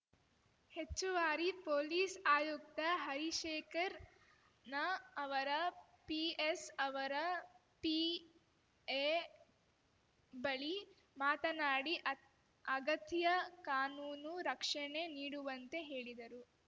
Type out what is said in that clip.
ಹೆಚ್ಚುವಾರಿ police ಆಯುಕ್ತ ಹರಿಶೇಖರ್ ನ ಅವರ ಪಿಎಸ್‌ ಅವರ ಪಿಎ ಬಳಿ ಮಾತನಾಡಿ ಅತ್ ಅಗತ್ಯ ಕಾನೂನು ರಕ್ಷಣೆ ನೀಡುವಂತೆ ಹೇಳಿದರು